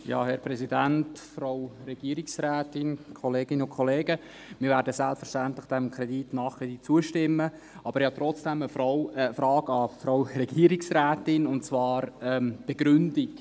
Wir werden diesem Kredit selbstverständlich nachher zustimmen, aber ich habe trotzdem eine Frage an die Frau Regierungsrätin, und zwar eine zur Begründung.